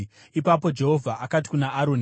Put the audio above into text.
Ipapo Jehovha akati kuna Aroni,